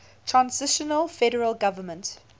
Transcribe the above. transitional federal government